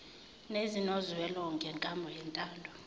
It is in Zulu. nezinozwela ngenkambo yentando